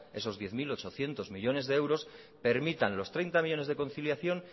esos diez mil ochocientos millónes de euros permitan los treinta millónes de conciliación